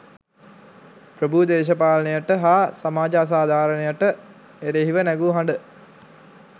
ප්‍රභූ දේශපාලනයට හා සමාජ අසාධාරණයට එරෙහිව නැගූ හඬ